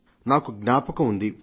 నాకు జ్ఞాపకం ఉంది